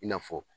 I n'a fɔ